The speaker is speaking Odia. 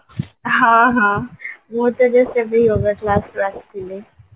ମୁଁ ତ ଏବେ yoga classରୁ ଆସିଥିଲି